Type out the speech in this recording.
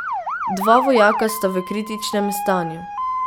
Dva vojaka sta v kritičnem stanju.